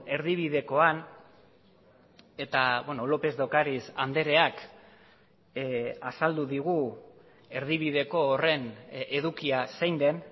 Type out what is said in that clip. erdibidekoan eta lópez de ocariz andreak azaldu digu erdibideko horren edukia zein den